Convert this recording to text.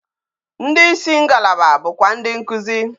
Ndi isi ngbala bụkwa ndi nkuzi